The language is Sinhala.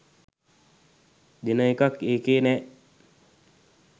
දෙන එකක් ඒකෙ නෑ.